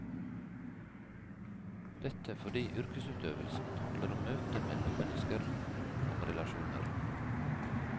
Dette fordi yrkesutøvelsen handler om møte mellom mennesker, om relasjoner.